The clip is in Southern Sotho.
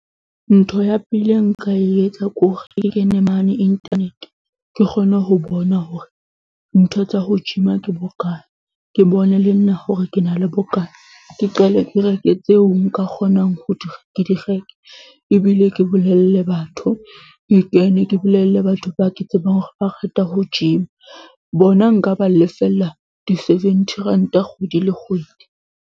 Ntho ya pele ya nka e etsa ke hore ke kene mane internet. Ke kgone ho bona hore ntho tsa ho gym-a ke bokae. Ke bone le nna hore ke na le bokana, ke qale ke reke tseo nka kgonang ho di ke di reke. Ebile ke bolelle batho ke kene, ke bolelle batho ba ke tsebang hore ba rata ho gym-a, bona nka ba lefella di-seventy ranta kgwedi le kgwedi.